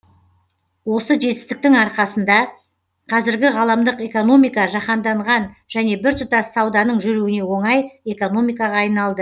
осы жетістіктің арқасында қазіргі ғаламдық экономика жаһанданған және біртұтас сауданың жүруіне оңай экономикаға айналды